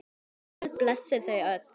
Guð blessi þau öll.